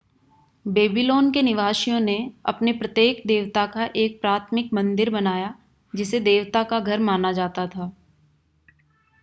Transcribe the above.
Babylon के निवासियों ने अपने प्रत्येक देवता का एक प्राथमिक मंदिर बनाया जिसे देवता का घर माना जाता था